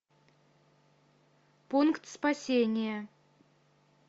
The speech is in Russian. пункт спасения